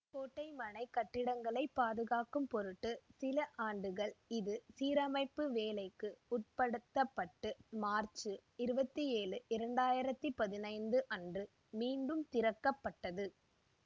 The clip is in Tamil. கோட்டைமனை கட்டடங்களைப் பாதுகாக்கும் பொருட்டு சில ஆண்டுகள் இது சீரமைப்பு வேலைக்கு உட்படுத்த பட்டு மார்ச்சு இருபத்தி ஏழு இரண்டு ஆயிரத்தி பதினைந்து அன்று மீண்டும் திறக்க பட்டது